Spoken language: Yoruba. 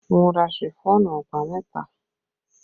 Mo ra Ṣifọ́ọ̀nù ọ̀pá mẹ́fà